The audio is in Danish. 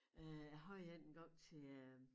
Øh jeg havde én engang til øh